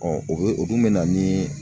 o bɛ o dun bɛ na ni